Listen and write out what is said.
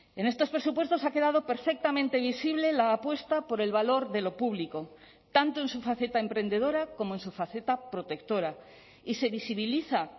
en estos presupuestos ha quedado perfectamente visible la apuesta por el valor de lo público tanto en su faceta emprendedora como en su faceta protectora y se visibiliza